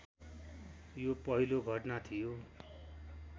यो पहिलो घटना थियो